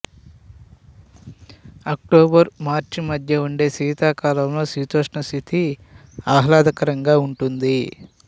October March మధ్య ఉండే శీతాకాలంలో శీతోష్ణస్థితి ఆహ్లాదకరంగా ఉంటుంది